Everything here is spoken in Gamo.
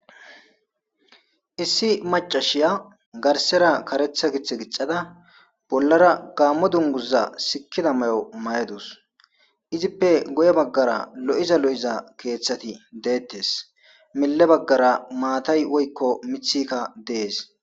issi macashiya garsera karetha gith gixada bollara gaammo dunguza sikkida may7o may7edus izippe goye baggara lo7iza lo7iza keeththati deettes mille baggara maatay woykko mithikka dees